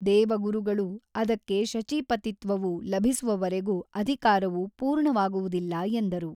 ದೇವಗುರುಗಳು ಅದಕ್ಕೆ ಶಚೀಪತಿತ್ವವು ಲಭಿಸುವವರೆಗೂ ಅಧಿಕಾರವು ಪೂರ್ಣವಾಗುವುದಿಲ್ಲ ಎಂದರು.